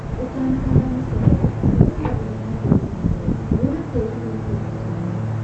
ũtanahanda mũcere cagũra handũ hene tĩri mũirũ wena tĩri mũritũ mũtune.